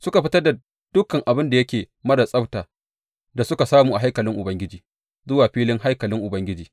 Suka fitar da dukan abin da yake marar tsabta da suka samu a haikalin Ubangiji zuwa filin haikalin Ubangiji.